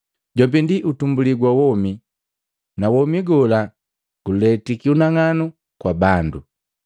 Jombi ndi utumbulii gwa womi, na womi gola guletiki unang'anu kwa bandu.